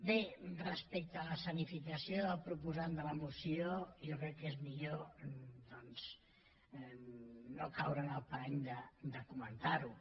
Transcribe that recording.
bé respecte a l’escenificació del proposant de la moció jo crec que és millor no caure en el parany de comentar ho